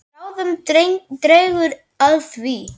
En bráðum dregur að því.